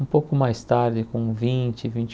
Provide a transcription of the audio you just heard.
Um pouco mais tarde, com vinte vinte